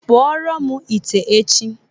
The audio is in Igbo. kpụọọrọ m ite echi.